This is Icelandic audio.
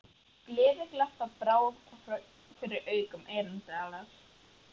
Gleðiglampa brá fyrir í augum Erlendar.